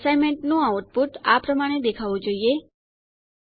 assignment નું output આ પ્રમાણે દેખાવું જોઈએ